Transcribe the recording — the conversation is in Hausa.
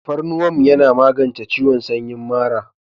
Tafarnuwan yana magance ciwon samyin mara.